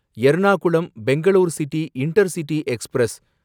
Ernakulam Bangalore city intercity express